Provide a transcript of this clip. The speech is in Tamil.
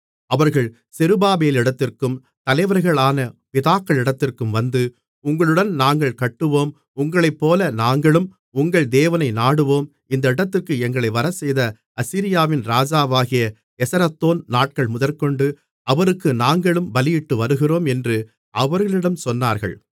அவர்கள் செருபாபேலிடத்திற்கும் தலைவர்களான பிதாக்களிடத்திற்கும் வந்து உங்களுடன் நாங்களும் கட்டுவோம் உங்களைப்போல நாங்களும் உங்கள் தேவனை நாடுவோம் இந்த இடத்திற்கு எங்களை வரச் செய்த அசீரியாவின் ராஜாவாகிய எசரத்தோன் நாட்கள் முதற்கொண்டு அவருக்கு நாங்களும் பலியிட்டுவருகிறோம் என்று அவர்களிடம் சொன்னார்கள்